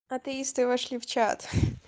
атеисты вошли в чат